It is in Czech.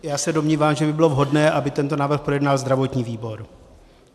Já se domnívám, že by bylo vhodné, aby tento návrh projednal zdravotní výbor.